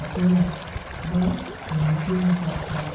apita ma kingi tye macok cok